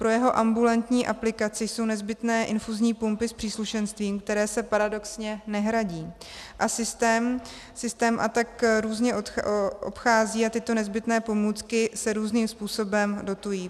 Pro jeho ambulantní aplikaci jsou nezbytné infuzní pumpy s příslušenstvím, které se paradoxně nehradí, a systém se tak různě obchází a tyto nezbytné pomůcky se různým způsobem dotují.